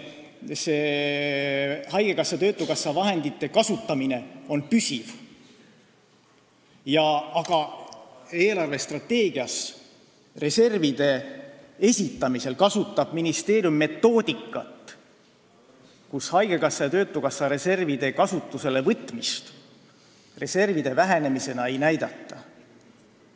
Haigekassa ja töötukassa vahendite kasutamine on püsiv, aga eelarvestrateegias reservide esitamisel kasutab ministeerium metoodikat, mille järgi haigekassa ja töötukassa reservide kasutusele võtmist reservide vähenemisena ei näidata.